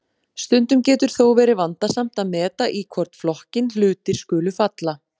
Stundum getur þó verið vandasamt að meta í hvorn flokkinn hlutir skuli falla.